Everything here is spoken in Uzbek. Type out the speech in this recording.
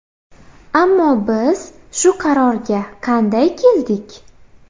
Ammo biz shu qarorga qanday keldik?